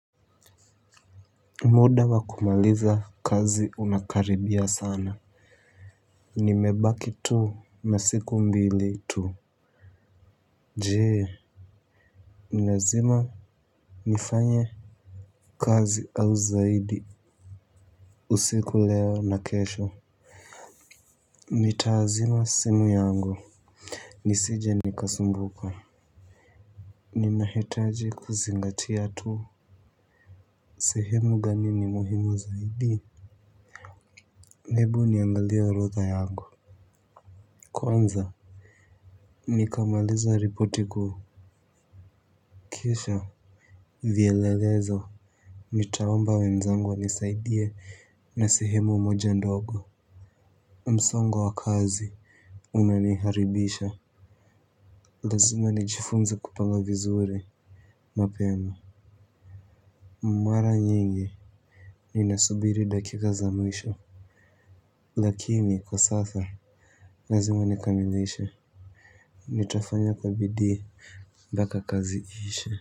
Muda wa kumaliza kazi unakaribia sana. Nimebaki tu na siku mbili tu je, nimezima nifanye kazi au zaidi. Usiku leo na kesho. Nitazima simu yangu. Nisije nikasumbuka. Ninahitaji kuzingatia tu. Sehemu gani ni muhimu zaidi hebu niangalie orodha yangu. Kwanza nikamaliza ripoti ku Kisha Vyelelezo nitaomba wenzangu wanisaidie na sehemu moja ndogo. Msongo wa kazi unaniharibisha. Lazima nijifunza kupanga vizuri mapema. Mara nyingi ninasubiri dakika za mwisho. Lakini kwa sasa lazima nikamilishe. Nitafanya kwa bidii mpaka kazi iishe.